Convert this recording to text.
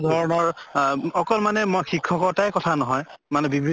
ধৰণৰ আহ অকল মানে মই শিক্ষ্কতাই কথা নহয় মানে বিভি